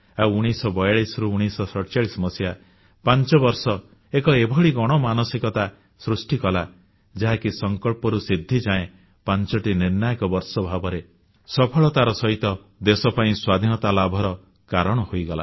ଆଉ 1942ରୁ 1947 ପାଞ୍ଚବର୍ଷରେ ଏକ ଏଭଳି ଗଣ ମାନସିକତା ସୃଷ୍ଟି କଲା ଯାହାକି ସଂକଳ୍ପରୁ ସିଦ୍ଧିଯାଏ 5ଟି ନିର୍ଣ୍ଣାୟକ ବର୍ଷ ଭାବରେ ସଫଳତାର ସହିତ ଦେଶ ପାଇଁ ସ୍ୱାଧୀନତା ଲାଭର କାରଣ ହୋଇଗଲା